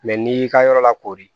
Mɛ n'i y'i ka yɔrɔ lakori